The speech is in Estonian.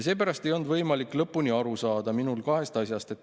Seepärast ei olnud minul võimalik lõpuni aru saada kahest asjast.